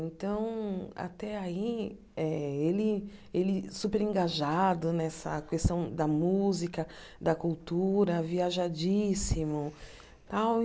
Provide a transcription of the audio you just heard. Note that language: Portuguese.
Então, até aí, eh ele ele super engajado nessa questão da música, da cultura, viajadíssimo tal e.